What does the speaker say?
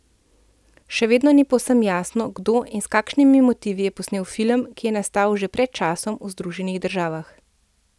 Še vedno ni povsem jasno, kdo in s kakšnimi motivi je posnel film, ki je nastal že pred časom v Združenih državah.